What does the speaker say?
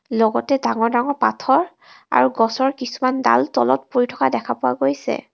লগতে ডাঙৰ ডাঙৰ পাথৰ আৰু গছৰ কিছুমান ডাল তলত পৰি থকা দেখা পোৱা গৈছে.